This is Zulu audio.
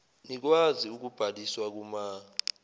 nikwazi ukubhaliswa kuma